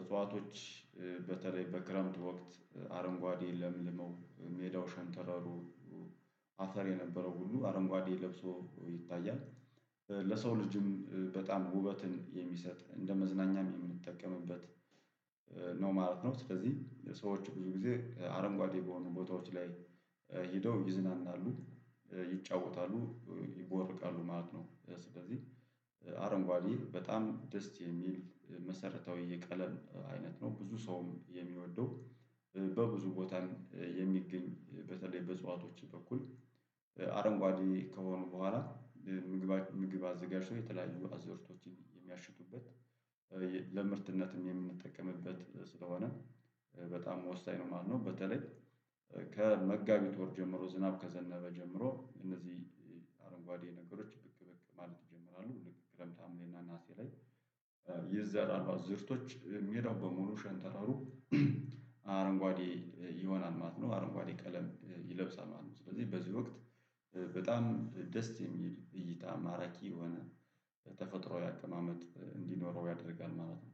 እጽዋቶች በተለይ በክረምት ወቅት አረንጓዴ ለምልመው ሜዳው ሸንተረሩ አፈር የነበረው ሁሉ አረንጓዴ ለብሶ ይታያል። ለሰው ልጅም በጣም ውበትን የሚሰጥ እንደ መዝናኛም የምንጠቀምበት ነው ማለት ነው። ስለዚህ ሰዎች ብዙ ጊዜ አረንጓዴ በሆኑ ቦታዎች ላይ ሄደው ይዝናናሉ ይጫወታሉ ይቦርቃሉ ማለት ነው። ስለዚህ አረንጓዴ በጣም ደስ የሚል መሰረታዊ የቀለም አይነት ነው። ብዙ ሰውም የሚወደው በብዙ ቦታ የሚገኝ በተለይ በእፅዋቶች በኩል አረንጓዴ ከሆኑ በኋላ ምግብ ምግብ አዘጋጅቶ የተለያዩ አዘርቶችን የሚያሽቱበት ለምርትነትም የምንጠቀምበት ስለሆነ በጣም ወሳኝ ነው። ማለት ነው በተለይ ከመጋቢት ወር ጀምሮ ዝናብ ከዘነበ ጀምሮ እነዚህ አረንጓዴ ነገሮች ብቅ ብቅ ማለት ይጀምራሉ። ልክ ክረምት ሀምሌና ነሀሴ ላይ ይዘራ አዝርቶች ሜዳው በሙሉ ሸንተረሩ አረንጓዴ ይሆናል ማለት ነው። አረንጓዴ ቀለም ይለብሳል ማለት ነው። ስለዚህ በዚህ ወቅት በጣም ደስ የሚል እይታ ማራኪ የሆነ ተፈጥሯዊ አቀማመጥ እንዲኖረው ያደርጋል ማለት ነው